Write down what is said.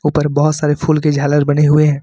ऊपर बहुत सारे फूल की झालर बने हुए हैं।